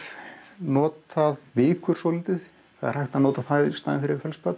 notað vikur svolítið það er hægt að nota í staðinn fyrir